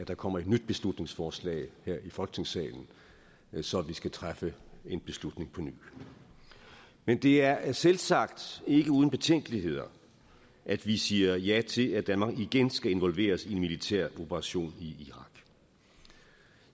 der kommer et nyt beslutningsforslag her i folketingssalen så vi skal træffe en beslutning på ny men det er er selvsagt ikke uden betænkeligheder at vi siger ja til at danmark igen skal involveres i en militæroperation i irak